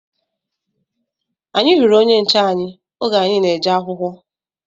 Anyị hụrụ onye nche anyị oge anyị na-eje akwụkwọ